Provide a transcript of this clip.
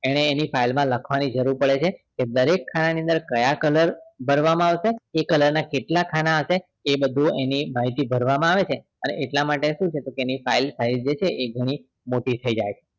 એણેએની file માં જરૂર પડે છે દરેક ખાના ની અંદર કયા color ભરવામાં આવશે એ color ના કેટલા ખાના હશે એ બધું અહીથી ભરવામાં આવે છે અને એટલા માટે એની file છે એ મોટી થઇ જાય છે